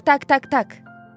Tak tak tak tak.